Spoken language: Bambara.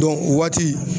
o waati